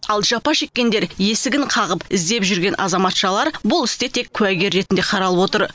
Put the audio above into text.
ал жапа шеккендер есігін қағып іздеп жүрген азаматшалар бұл істе тек куәгер ретінде қаралып отыр